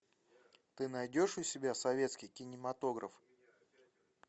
ты найдешь у себя советский кинематограф